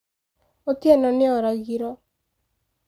Otieno nĩ oragiro